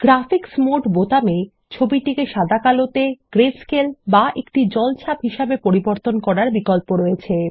graphics mode বোতামে ছবিটিকে সাদা কালোতে গ্রেস্কেল বা একটি জলছাপ হিসেবে পরিবর্তন করার বিকল্প রয়েছে